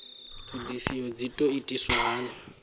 ṱhoḓisio dzi ḓo itiswa hani